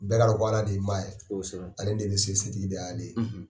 Bɛɛ k'a dɔn aka d ye ma ye, ale de bɛ se setigi de ye Ale ye.